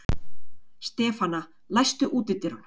Stefana, læstu útidyrunum.